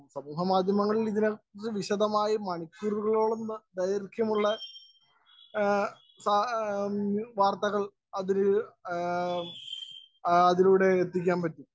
Speaker 1 സമൂഹമാധ്യമങ്ങളും വിശദമായി മണിക്കൂറുകളോളംവാര്‍ത്തകള്‍അതിലൂടെ എത്തിക്കാന്‍ പറ്റി.